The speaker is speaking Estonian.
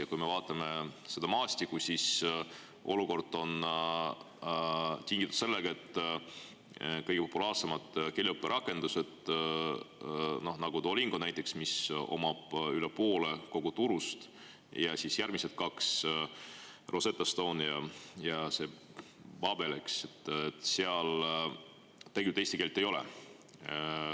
Ja kui me vaatame seda maastikku, siis olukord on tingitud sellest, et kõige populaarsemates keeleõpperakendustes, nagu Duolingo, mis omab üle poole kogu turust, ja siis järgmised kaks, Rosetta Stone ja BabelLex, tegelikult eesti keelt ei ole.